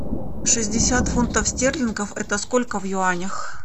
шестьдесят фунтов стерлингов это сколько в юанях